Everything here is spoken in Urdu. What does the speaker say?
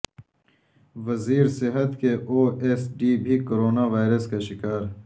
وزیر صحت کے او ایس ڈی بھی کورونا وائرس کا شکار